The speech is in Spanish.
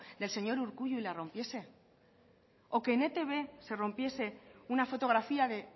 del señor urkullu y la rompiese o que en etb se rompiese una fotografía de